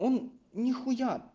он нихуя